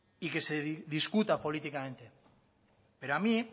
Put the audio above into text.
y que se discuta políticamente pero a mí